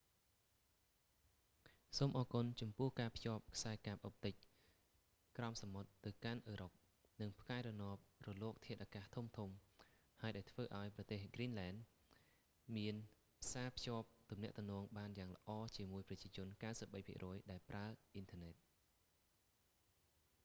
សូមអរគុណចំពោះការភ្ជាប់ខ្សែកាបអុបទិកក្រោមសមុទ្រទៅកាន់អឺរ៉ុប និងផ្កាយរណបរលកធាតុអាកាសធំៗហើយដែលធ្វើឲ្យប្រទេសហ្គ្រីនលែន greenland មានផ្សាភ្ជាប់ទំនាក់ទំនងបានយ៉ាងល្អជាមួយប្រជាជន 93% ដែលប្រើអ៊ីនធើរណិត